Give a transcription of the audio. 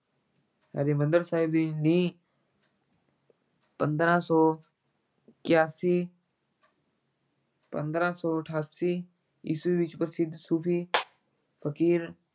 ਹਰਿਮੰਦਰ ਸਾਹਿਬ ਦੀ ਨੀਂਹ ਪੰਦਰਾਂ ਸੌ ਇਕਆਸੀ ਪੰਦਰਾਂ ਸੌ ਅਠਾਸੀ ਈਸਵੀ ਵਿੱਚ ਪ੍ਰਸਿੱਧ ਸੂਫ਼ੀ ਫ਼ਕੀਰ